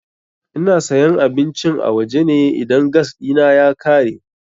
Ina sayan abincin a waje ne idan gas ɗina ya ƙare.